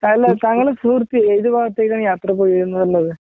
അല്ല താങ്കളുടെ സുഹൃത്ത് ഏതു ഭാഗത്തേക്കാണ് യാത്ര പോയിന്ന്പറഞ്ഞത്?